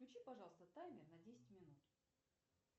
включи пожалуйста таймер на десять минут